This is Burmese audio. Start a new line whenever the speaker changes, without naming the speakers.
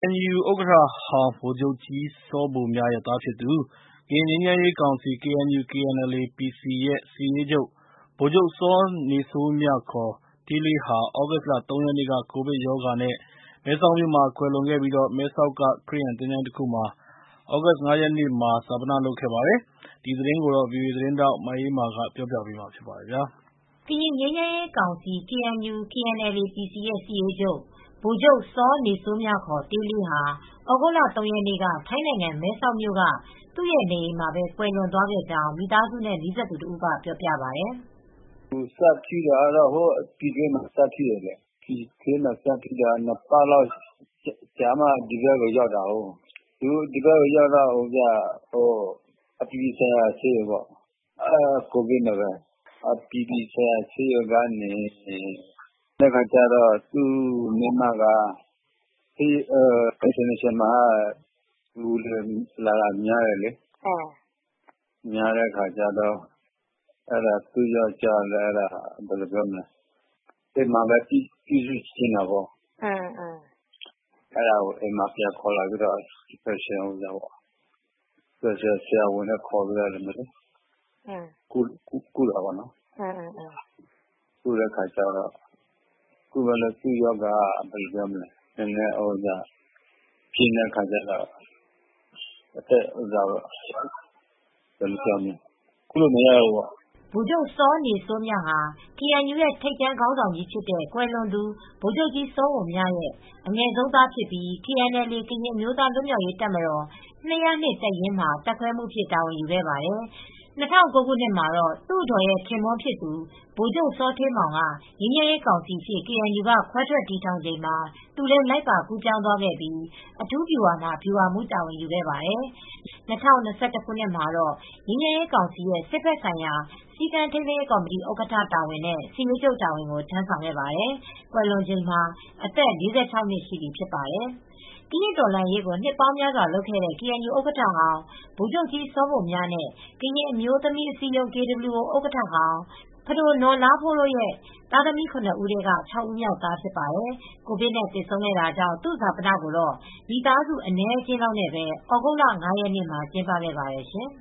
ကေအန်ယူဥက္ကဋ္ဌဟောင်းဗိုလ်ချုပ်ကြီးစောဘိုမြရဲ့သားဖြစ်သူ ကရင်ငြိမ်းချမ်းရေးကောင်စီ (KNU/KNLA-PC) ရဲ့ စစ်ရေးချုပ် ဗိုလ်ချုပ်စောနေစိုးမြ (ခ) တေးလေးဟာ သြဂုတ်လ ၃ ရက်နေ့က ကိုဗစ်ရောဂါနဲ့မဲဆောက်မြို့မှာကွယ်လွန်ခဲ့ပြီး မဲဆောက်က ခရစ်ယာန်သချိုင်းတခုမှာ သြဂုတ်လ ၅ ရက်နေ့က ဈာပနလုပ်ခဲ့ပါတယ်။ ဒီသတင်းကို ဗွီအိုအေသတင်းထောက်မအေးအေးမာက ပြောပြပေးပါမယ်။
ကရင်ငြိမ်းချမ်းရေးကောင်စီ (KNU/KNLA-PC) ရဲ့စစ်ရေးချုပ် ဗိုလ်ချုပ်စောနေစိုးမြ (ခ) တေးလေးဟာ သြဂုတ်လ ၃ ရက်နေ့က ထိုင်းနိုင်ငံ၊ မဲဆောက်မြို့က သူ့ရဲ့နေအိမ်မှာပဲ ကွယ်လွန်သွားခဲ့ကြောင်း မိသားစုနဲ့နီးစပ်သူတဦးက ပြောပြပါတယ်။
“စဖြစ်တာကတော့
ပြည်တွင်းမှာ စဖြစ်တယ်။ စဖြစ်ပြီး ၂ ပတ်လောက်ကြာမှ ဒီဘက်ကိုရောက်တာ။ အပြည်ပြည်ဆိုင်ရာဆေးရုံပေါ့။ ကိုဗစ်နဲ့ပဲ အပြည်ပြည်ဆိုင်ရာဆေးရုံရောက်တယ်။ သူ့အမျိုးသမီးက “အင်တာနေရှင်နယ်ဆေးရုံမှာက လူတွေလာတာ များတယ်။”
သူ့ အ
မျိုးသမီးက အိမ်မှာပဲ ပြန်ပြုစုချင်တာပေါ့
။
အဲဒါကို အိမ်မှာပြန်ခေါ်လာပြီး အိမ်မှာပဲ စပါယ်ရှယ်ဆရာဝန်နဲ့ ခေါ်ပြီးကုတယ်။
သ
ူ့ရောဂါက ပြင်
းတဲ
့အခါကျတော့ ကုမရတော့ဘူးပေ့ါ။” ဗိုလ်ချ
ုပ်စောနေစိုးမြဟာ ကေအန်ယူရဲ့ထိပ်တန်းခေါင်းဆောင်ကြီးဖြစ်တဲ့ ကွယ်လွန်သူဗိုလ်ချုပ်ကြီးစောဘိုမြရဲ့အငယ်ဆုံးသားဖြစ်ပြီး KNLA-ကရင်အမျိုးသား လွတ်မြောက်ရေးတပ်မတော် ၂၀၂ တပ်ရင်းမှာ တပ်ခွဲမှူးအဖြစ် တာဝန်ယူခဲ့ပါတယ်။ ၂၀၀၉ ခုနှစ်မှာတော့ သူအဒေါ်ရဲ့ခင်ပွန်းဖြစ်သူ ဗိုလ်ချုပ်ထိန်မောင်က ငြိမ်းချမ်းရေးကောင်စီအဖြစ် ကေအန်ယူက ခွဲထွက်တည်ထောင်ချိန်မှာ သူလည်းလိုက်ပါကူးပြောင်းသွားခဲ့ပြီး အထူးဗျူဟာမှာ ဗျူဟာမှူးတာဝန်ကိုယူခဲ့ပါတယ်။ ၂၀၂၁ ခုနှစ် မှာတော့ ငြိမ်းချမ်းရေးကောင်စီရဲ့စစ်ဖက်ဆိုင်ရာ စည်းကမ်းထိန်းသိမ်းရေးကော်မတီ ဥက္ကဋ္ဌတာဝန်နဲ့ စစ်ရေးချုပ်တာဝန်ကို ထမ်းဆောင်ခဲ့ပါတယ်။ ကွယ်လွန်ချိန်မှာ အသက် ၄၆ နှစ်ရှိပြီဖြစ်ပါတယ်။ ကရင့်တော်လှန်ရေးကို နှစ်ပေါင်းများစွာလုပ်ခဲ့တဲ့ ကေအန်ယူဥက္ကဋ္ဌဟောင်း ဗိုလ်ချုပ်ကြီးစောဘိုမြနဲ့ ကရင်အမျိုးသမီးအစည်းအရုံး (KWO) ဥက္ကဋ္ဌဟောင်း ပဒိုနော် လားဖိုးတို့ရဲ့သားသမီး ၇ ဦး ထဲက ၆ ဦးမြောက်သားဖြစ်ပါတယ်။ ကိုဗစ်နဲ့ သေဆုံးခဲ့တာကြောင့် သူ့ဈာပနကိုတော့ မိသားစုအနည်းအကျဉ်းလောက်နဲ့ပဲ သြဂုတ်လ ၅ ရက် နေ့မှာ ကျင်းပခဲ့ပါတယ်ရှင်